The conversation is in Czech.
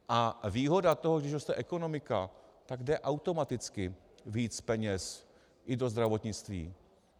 A výhoda toho, když roste ekonomika, tak jde automaticky víc peněz i do zdravotnictví.